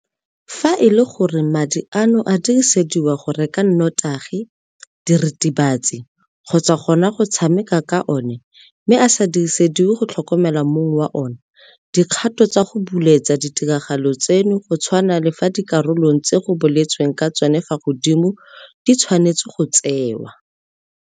Fa e le gore madi ano a dirisediwa go reka notagi, diritibatsi kgotsa gona go tshameka ka ona mme a sa dirisediwe go tlhokomela mong wa ona, dikgato tsa go buletsa ditiragalo tseno go tshwana le fa dikarolong tse go boletsweng ka tsona fa godimo di tshwanetswe go tsewa.